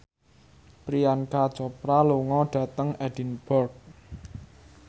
Priyanka Chopra lunga dhateng Edinburgh